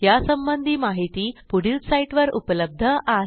यासंबंधी माहिती पुढील साईटवर उपलब्ध आहे